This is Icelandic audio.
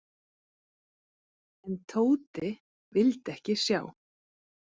En Tóti vildi ekki sjá.